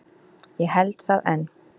Ég held það enn.